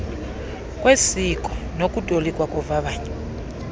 kwesikora nokutolikwa kovavanyo